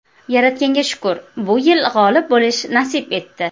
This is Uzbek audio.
Yaratganga shukr, bu yil g‘olib bo‘lish nasib etdi.